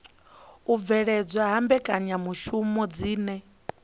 u bveledzwa ha mbekanyamishumo dzine